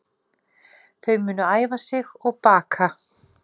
Þau munu æfa sig og baka